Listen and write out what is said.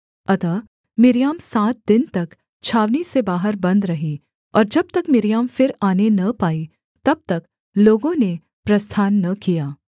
अतः मिर्याम सात दिन तक छावनी से बाहर बन्द रही और जब तक मिर्याम फिर आने न पाई तब तक लोगों ने प्रस्थान न किया